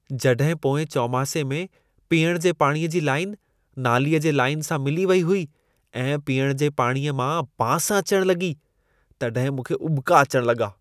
जॾहिं पोएं चौमासे में पीअण जे पाणीअ जी लाइन नालीअ जे लाइन सां मिली वेई हुई ऐं पीअण जे पाणीअ मां बांस अचण लॻी, तॾहिं मूंखे उॿिका अचण लॻा।